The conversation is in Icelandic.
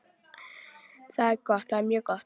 Það er gott, það er mjög gott.